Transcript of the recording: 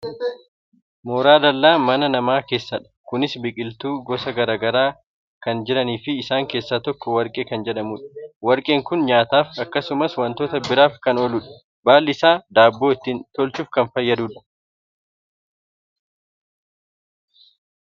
mooraa dallaa mana namaa keessadha. kunis biqiltoonni gosa gara garaa kan jiraniifi isaan keessaa tokko warqee kan jedhamudha. warqeen kun nyaataaf akkasumas wantoota biraaf kan ooludha. baalli isaa daabboo ittiin tolchuuf kan fayyadudha.